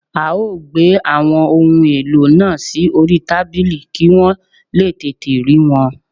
A ó gbé àwọn ohun èlò náà sí orí tábìlì kí wọ́n lè tètè rí wọn